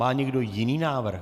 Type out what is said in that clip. Má někdo jiný návrh?